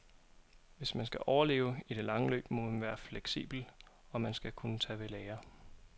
Hvis man skal overleve i det lange løb, må man være fleksibel og man skal kunne tage ved lære.